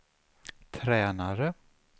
tränare